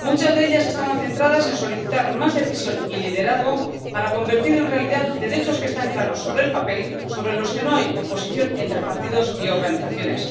Se solicitó más decisión y liderazgo para convertir en realidad derechos que están claros sobre el papel y sobre los que no hay oposición entre partidos y organizaciones